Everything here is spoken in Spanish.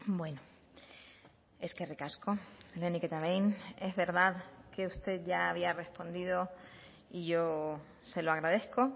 bueno eskerrik asko lehenik eta behin es verdad que usted ya había respondido y yo se lo agradezco